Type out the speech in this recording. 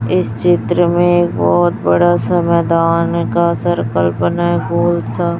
इस चित्र में बहोत बड़ा सा मैदान का सर्किल बना है गोल सा--